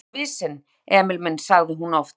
Þú ert svo mjór og visinn, Emil minn sagði hún oft.